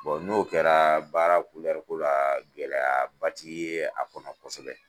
Bon n'o kɛra baara ko la gɛlɛya ba ti ye a ko la kosɛbɛ.